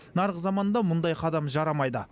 нарық заманында мұндай қадам жарамайды